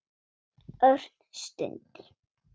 Örn stundi.